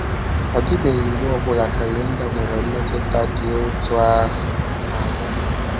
Ọ dịbeghị mgbe ọ bụla kalenda nwere mmetụta dị otú ahụ n’ahụ́ m.